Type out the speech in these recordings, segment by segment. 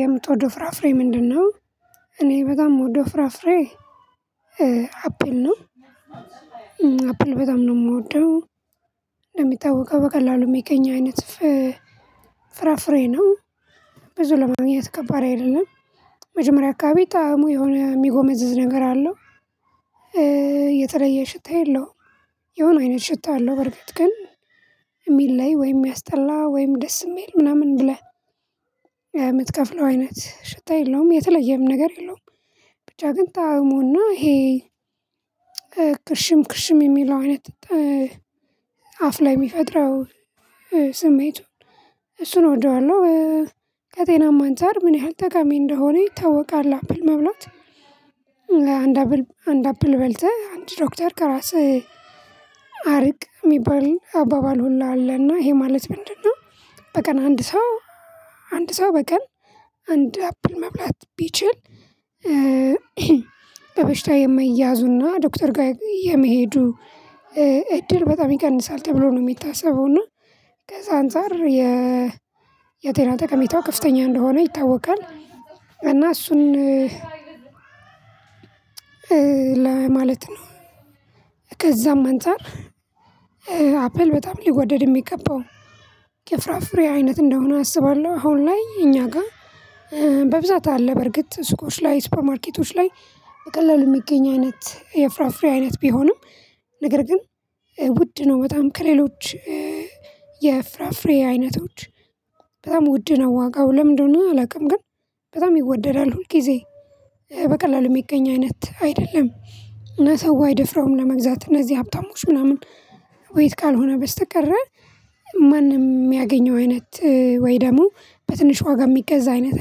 የምትወደው ፍራፍሬ ምንድነው? እኔ በጣም ምወደው ፍራፍሬ አፕል ነው አፕል በጣም ነው የምወደው እንደሚታወቀው በቀላሉ ሚገኝ አይነት ፍራፍሬ ነው ብዙ ለማግኘት ከባድ አይደለም መጀመሪያ አካባቢ ጣዕሙ የሆነ የሚጎመዝዝ ነገር አለው የተለየ ሽታ የለውም የሆነ አይነት ሽታ አለው በርግጥ ግን የሚለይ ወይም ያስጠላ ወይም ደስ የሚል ምናምን ብለህ የምትከፍለው አይነት ሽታ የለውም የተለየም ነገር የለውም ብቻ ግን ጣዕሙና ይሄ ክርሽም ክርሽም የሚለው አይነት አፍ ላይ የሚፈጥረው ስሜቱን እሱን እወደዋለሁ ከጤናማ አንፃር ምን ያህል ተቃሚ እንደሆነ ይታወቃል አፕል መብላት አንድ አፕል አንድ አፕል በልተህ አንድ ዶክተር ከራስህ አርቅ የሚባል አባባል ሁላ አለና ይሄ ማለት ምንድነው በቀን አንድ ሰው አንድ ሰው በቀል አንድ አፕል መብላት ቢችል በበሽታ የማይያዙና ዶክተር ጋይ የመሄዱ እድል በጣም ይቀንሳል ተብሎ ነው የሚታሰበው እና ከዛ አንፃር የጤና ጠቀሚታው ከፍተኛ እንደሆነ ይታወቃል እና እሱን ለማለት ነው ከዛም አንፃር አፕል በጣም ሊወደድ የሚገባው ከፍራፍሬ አይነት እንደሆነ አስባለሁ አሁን ላይ እኛ ጋ በብዛት አለ በርግጥ ሱቆች ላይ ሱፐርማርኬቶች ላይ በቀላሉ የሚገኝ አይነት የፍራፍሬ አይነት ቢሆንም ነገር ግን ውድ ነው በጣም ከሌሎች የፍራፍሬ አይነቶች በጣም ውድ ነው ዋጋው ለምን እንደሆነ አላቅም ግን በጣም ይወደዳል ሁል ጊዜ በቀላሉ የሚገኝ አይነት አይደለም እና ሰው አይደፍረውም ለመግዛት እነዚህ ሀብታሞች ምናምን ወይት ካልሆነ በስተቀረ ማንም የሚያገኘው አይነት ወይ ደግሞ በትንሽ ዋጋ የሚገዛ አይነት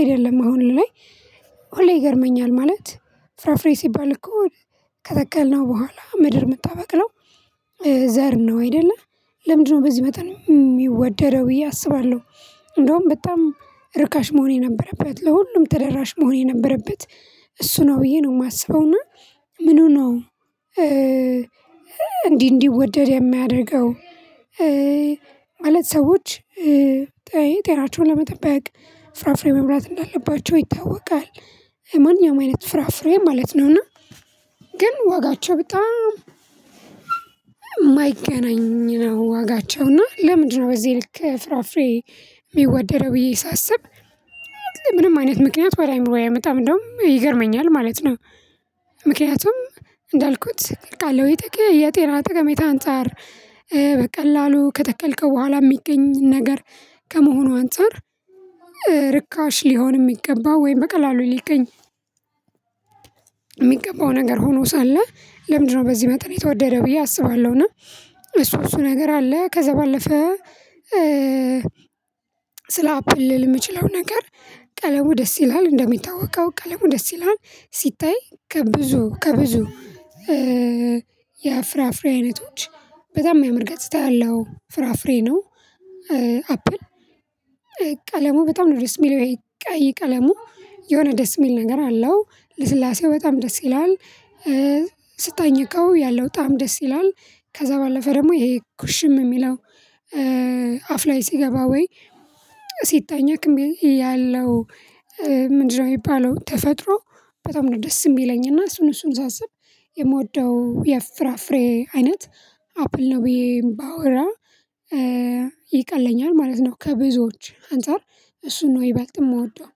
አይደለም አሁን ላይ ሁሌ ይገርመኛል ማለት ፍራፍሬ ሲባል እኮ ከተከልነው በኋላ ምድር የምታበቅለው ዘር ነው አይደለ ለምንድነው በዚህ መጠን የሚወደረው ብዬ አስባለሁ እንደውም በጣም ርካሽ መሆን የነበረበት ለሁሉም ተደራሽ መሆን የነበረበት እሱ ነው ብዬ ነው የማስበው ና ምኑ ነው እንዲህ እንዲወደድ የሚያደርገው ማለት ሰዎች ጤጤናቸውን ለመጠበቅ ፍራፍሬ መብላት እንዳለባቸው ይታወቃል ማንኛውም አይነት ፍራፍሬ ማለት ነውና ግን ዋጋቸው በጣም የማይገናኝ ነው ዋጋቸው እና ለምንድነው በዚህ ልክ ፍራፍሬ የሚወደደው ብዬ ሳስብ ምንም አይነት ምክንያት ወደ አእምሮዬ አይመጣም እንደውም ይገርመኛል ማለት ነው ምክንያቱም እንዳልኩት አቃለሁ የጤና ጠቀሜታ አንፃር በቀላሉ ከተከልከው በኋላ የሚገኝ ነገር ከመሆኑ አንፃር ርካሽ ሊሆን ሚገባው ወይም በቀላሉ ሊገኝ የሚገባው ነገር ሆኖ ሳለ ለምንድነው በዚህ መጠን የተወደደ ብዬ አስባለሁና እሱ እሱ ነገር አለ ከዛ ባለፈ ስለ አፕል ልል የምችለው ነገር ቀለሙ ደስ ይላል እንደሚታወቀው ቀለሙ ደስ ይላል ሲታይ ከብዙ ከብዙ የፍራፍሬ አይነቶች በጣም የሚያምር ገጽታ ያለው ፍራፍሬ ነው አፕል ቀለሙ በጣም ነው ድረስ የሚለው ቀይ ቀለሙ የሆነ ደስ የሚል ነገር አለው ልስላሴው በጣም ደስ ይላል ስታኝከው ያለው ጣዕም ደስ ይላል ከዛ ባለፈ ደግሞ ይሄ ኩሽም የሚለው አፍ ላይ ሲገባ ወይ ሲታኘክ እሚ ያለው ምንድነው ሚባለው ተፈጥሮ በጣም ነው ደስ የሚለኝና እሱን እሱን ሳስብ የምወደው የፍራፍሬ አይነት አፕል ነው ብዬ ባወራ ይቀለኛል ማለት ነው ከብዙዎች አንፃር እሱን ነው ይበልጥ ምወደው